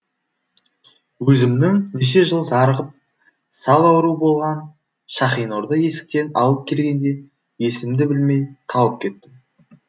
өзімнің неше жыл зарығып сал ауру болған шахинорды есіктен алып келгенде есімді білмей талып кеттім